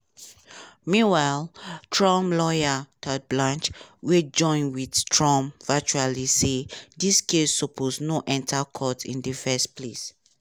meanwhile trump lawyer todd blanche wey join wit trump virtually say dis case suppose no enta court in di first place.